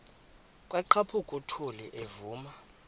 kwaqhaphuk uthuli evuma